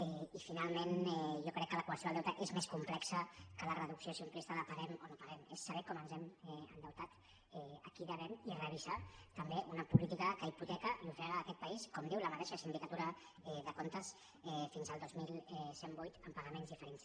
i finalment jo crec que la qüestió del deute és més complexa que la reducció simplista de paguem o no paguem és saber com ens hem endeutat a qui devem i revisar també una política que hipoteca i ofega aquest país com diu la mateixa sindicatura de comptes fins al dos mil cent i vuit amb pagaments diferits